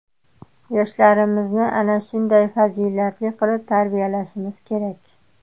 Yoshlarimizni ana shunday fazilatli qilib tarbiyalashimiz kerak.